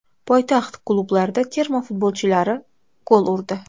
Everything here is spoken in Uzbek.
Poytaxt klublarida terma futbolchilari gol urdi.